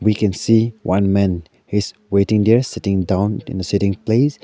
we can see one man is waiting there sitting down in the sitting place.